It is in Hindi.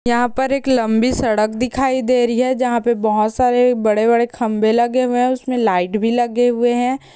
यहाँ पर एक लम्बी सड़क दिखाई दे रही है जहाँ पे बहोत सरे बड़े-बड़े खम्बे लगे हुए है उसमे लाइट भी लगे हुए है।